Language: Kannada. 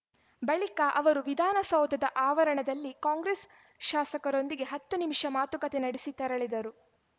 ಬಳಿಕ ಅವರು ವಿಧಾನಸೌಧದ ಆವರಣದಲ್ಲಿ ಕಾಂಗ್ರೆಸ್‌ ಶಾಸಕರೊಂದಿಗೆ ಹತ್ತು ನಿಮಿಷ ಮಾತುಕತೆ ನಡಿಸಿ ತೆರಳಿದರು